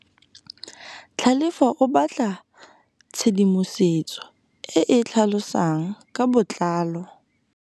Tlhalefô o batla tshedimosetsô e e tlhalosang ka botlalô.